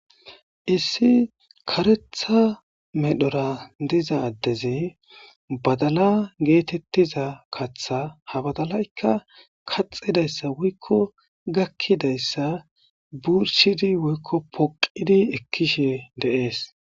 Issi karetha medhora diza addezi badala geetettiza katha ha badalaykka kaxidayssa woykko gakkidayssa burshidi woykko poqqidi ekkishe de'ees.